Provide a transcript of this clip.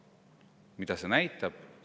Mida see näitab?